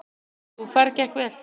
Sú ferð gekk vel.